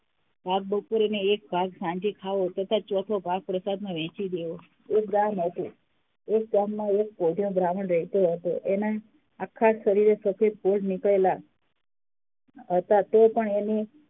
ભાગ બપોરે અને એક ભાગ સાંજે ખાવું તથા ચોથો ભાગ પ્રસાદનો દેવું. એક ગામ હતું. એક ગામમાં એક કોઢિયો બ્ર્હામણ રહેતો હતો. એના આખા શરીરે સફેદ કોઢ નીકળેલા હતા તોપણ તેને